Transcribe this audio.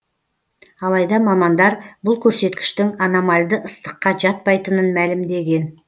алайда мамандар бұл көрсеткіштің аномальды ыстыққа жатпайтынын мәлімдеген